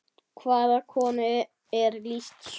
Hvaða konu er lýst svo?